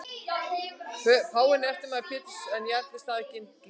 Páfinn er eftirmaður Péturs en jarl eða staðgengill Krists.